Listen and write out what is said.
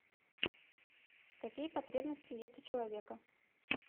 какие потребности есть у человека